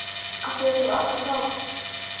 Af því að þú átt að fá þá.